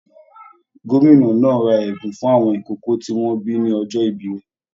Gómìnà náà rà ẹbùn fún àwọn ìkókó tí wọn bí ní ọjọ ìbí rẹ.